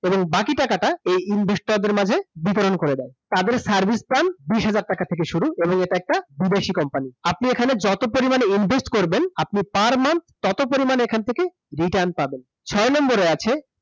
এবং বাকি টাকাটা এই investor মাঝে বিতরণ করে দেয় তাদের সার্ভিস চার্জ বিশ হাজার টাকা থেকে শুরু এবং এটা একটা বিদেশি company আপনি যত টাকা এখানে invest করবেন আপনি পার মান তত পরিমাণ এখান থেকে return পাবেন ছয় নাম্বারে আছে